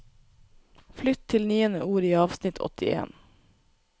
Flytt til niende ord i avsnitt åttien